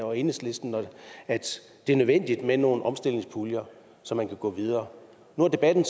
og enhedslisten at det er nødvendigt med nogle omstillingspuljer så man kan gå videre nu har debatten